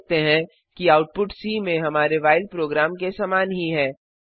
आप देख सकते हैं कि आउटपुट सी में हमारे व्हाइल प्रोग्राम के समान ही है